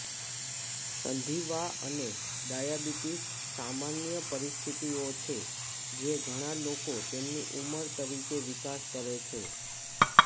સંધિવા અને ડાયાબિટીસ સામાન્ય પરિસ્થિતિઓ છે જે ઘણા લોકો તેમની ઉંમર તરીકે વિકાસ કરે છે